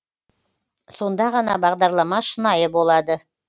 сонда ғана бағдарлама шынайы болады